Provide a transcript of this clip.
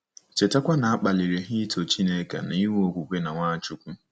Chetakwa na a kpaliri ha ito Chineke na inwe okwukwe na Nwachukwu.